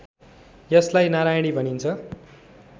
यसलाई नारायणी भनिन्छ